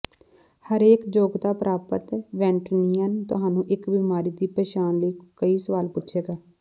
ਹਰੇਕ ਯੋਗਤਾ ਪ੍ਰਾਪਤ ਵੈਟਰਨਰੀਅਨ ਤੁਹਾਨੂੰ ਇਕ ਬੀਮਾਰੀ ਦੀ ਪਛਾਣ ਲਈ ਕਈ ਸਵਾਲ ਪੁੱਛੇਗਾ